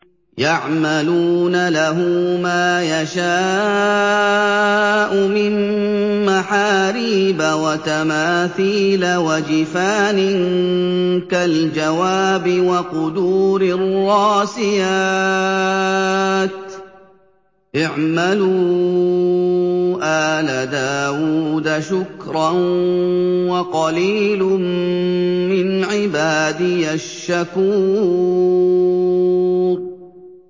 يَعْمَلُونَ لَهُ مَا يَشَاءُ مِن مَّحَارِيبَ وَتَمَاثِيلَ وَجِفَانٍ كَالْجَوَابِ وَقُدُورٍ رَّاسِيَاتٍ ۚ اعْمَلُوا آلَ دَاوُودَ شُكْرًا ۚ وَقَلِيلٌ مِّنْ عِبَادِيَ الشَّكُورُ